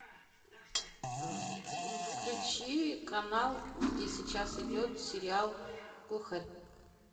включи канал где сейчас идет сериал глухарь